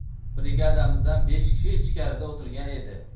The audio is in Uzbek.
Brigadamizdan besh kishi ichkarida o‘tirgan edi.